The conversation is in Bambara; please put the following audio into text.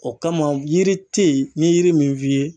O kama yiri te yen n ye yiri min f'i ye